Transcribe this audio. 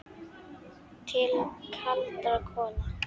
Til kaldra kola.